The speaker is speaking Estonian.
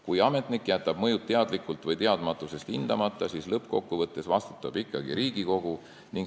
Kui ametnik jätab mõjud teadlikult või teadmatusest hindamata, siis lõppkokkuvõttes vastutab ikkagi Riigikogu.